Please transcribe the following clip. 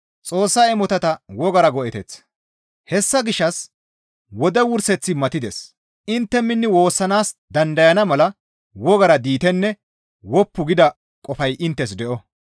Hessa gishshas wode wurseththi matides; intte minni woossanaas dandayana mala wogara diitenne woppu gida qofay inttes de7o.